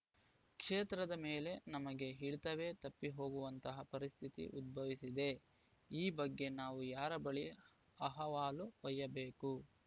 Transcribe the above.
ಕ್ಷೇತ್ರದ ಮೇಲೆ ನಮಗೆ ಹಿಡಿತವೇ ತಪ್ಪಿಹೋಗುವಂತಹ ಪರಿಸ್ಥಿತಿ ಉದ್ಭವಿಸಿದೆ ಈ ಬಗ್ಗೆ ನಾವು ಯಾರ ಬಳಿ ಅಹವಾಲು ಒಯ್ಯಬೇಕು